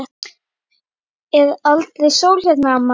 Er aldrei sól hérna, amma?